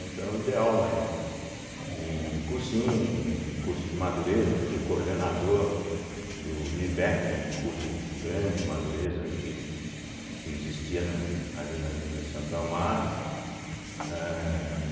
Então, eu dei aula em em cursinho, em curso de madureza, fui coordenador do do ibéque, um curso grande de madureza que que existia na ali na Avenida Santo Amaro, eh.